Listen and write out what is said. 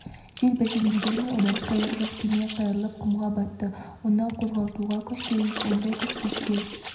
жел бәсеңдегенімен одан қайыр жоқ кеме қайырлап құмға батты оны қозғалтуға күш керек ондай күш бізде